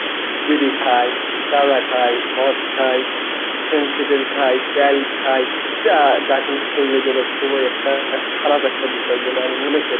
বিড়ি খায় গাঁজা খায় মদ খায় খায় বেল খায় যা যা কিন্তু শরীরের জন্য খুবই একটা খারাপ একটা বিষয় বলে আমি মনে করি।